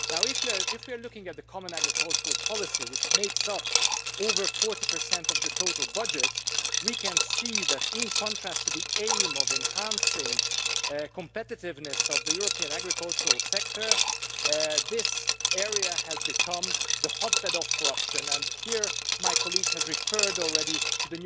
Now if we are looking at the Common Agricultural Policy, which makes up over 40 of the total budget, we can see that in contrast to the aim of enhancing the competitiveness of the European agricultural sector, this area has become a hotbed of corruption, and here my colleague has referred already to